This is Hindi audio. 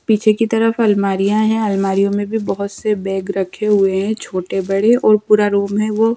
पीछे की तरफ अलमारियां है अलमारियों में भी बहुत से बैग रखे हुए हैं छोटे बड़े और पूरा रूम है वो --